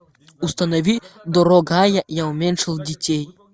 установи дорогая я уменьшил детей